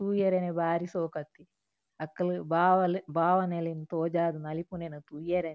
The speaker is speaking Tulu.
ತೂಯೆರೆನೆ ಬಾರಿ ಶೋಕು ಅಕ್ ಅಕುಲು ಬಾವಲೆ ಭಾವನೆಲೆನ್ ತೋಜಾದ್ ನಲಿಪುನೆನ್ ತೂಯೆರೆನೆ.